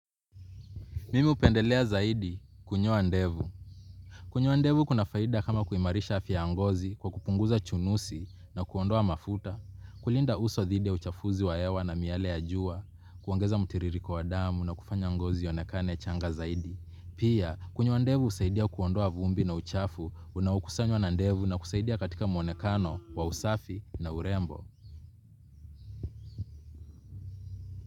Mimi hupendelea zaidi kunyoa ndevu. Kunyoa ndevu kuna faida kama kuimarisha afya ya ngozi kwa kupunguza chunusi na kuondoa mafuta. Kulinda uso dhidi ya uchafuzi wa hewa na miale ya jua, kuongeza mtiririko wa damu na kufanya ngozi ionekane changa zaidi. Pia kunyoa ndevu husaidia kuondoa vumbi na uchafu unaokusanywa na ndevu na kusaidia katika mwonekano wa usafi na urembo.